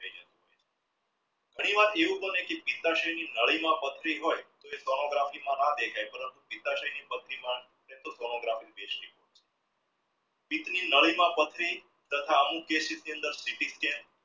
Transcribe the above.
ઘણી વાર એવું પણ હોય કે ની નદી માં પથરી હોઇ એ sonography માં નહ દેખાઈ પથરી માં sonography જોયસે નદી માં પથરી તથા